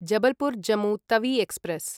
Jabalpur Jammu Tawi express